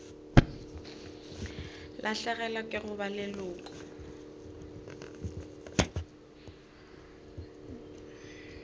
lahlegelwa ke go ba leloko